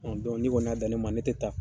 Ɔ don n'i kɔni y'a dan ne ma ne tɛ taa